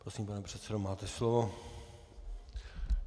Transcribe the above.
Prosím, pane předsedo, máte slovo.